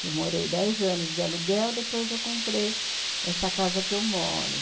Que eu morei dez anos de aluguel, depois eu comprei essa casa que eu moro.